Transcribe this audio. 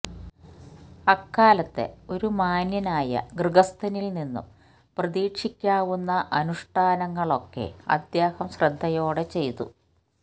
അക്കാലത്തെ ഒരു മാന്യനായ ഗൃഹസ്ഥനില്നിന്നും പ്രതീക്ഷിക്കാവുന്ന അനുഷ്ഠാനങ്ങളൊക്കെ അദ്ദേഹം ശ്രദ്ധയോടെ ചെയ്തു